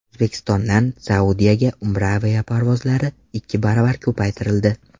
O‘zbekistondan Saudiyaga Umra aviaparvozlari ikki baravar ko‘paytirildi.